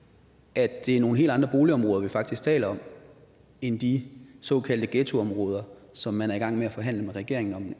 at det er nogle helt andre boligområder vi faktisk taler om end de såkaldte ghettoområder som man er i gang med at forhandle med regeringen om i